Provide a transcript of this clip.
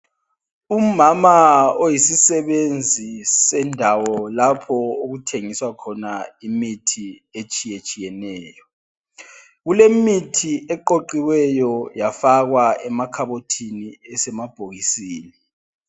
Umama oyisisebenzi sendawo, lapha okuthengiswa khona imithi etshiyetshiyeneyo. Kulemithi eqoqiweyo yafakwa emakhabothini, esemabhokisini .